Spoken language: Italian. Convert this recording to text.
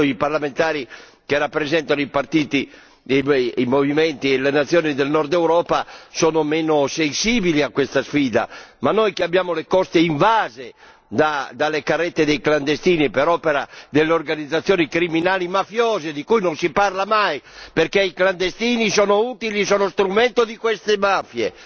Certo, i parlamentari che rappresentano i partiti, i movimenti e le nazioni del nord Europa sono meno sensibili a questa sfida, ma noi abbiamo le coste invase dalle carrette dei clandestini per opera delle organizzazioni criminali mafiose, di cui non si parla mai perché i clandestini sono utili, sono uno strumento di queste mafie.